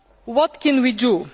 What can